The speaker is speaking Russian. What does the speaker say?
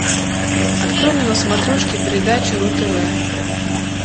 открой мне на смотрешке передачу ру тв